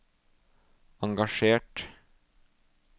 engasjert